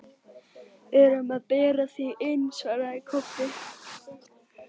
Við erum að bera þig inn, svaraði Kobbi.